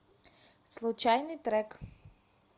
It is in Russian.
случайный трек